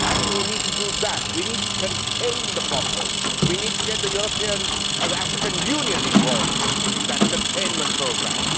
I think we need to do that we need to contain the problem and get the European and African Unions involved in that containment programme.